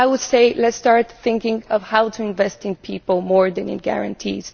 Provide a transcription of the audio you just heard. I would say let us start thinking about how to invest in people more than in guarantees.